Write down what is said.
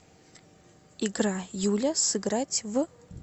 игра юля сыграть в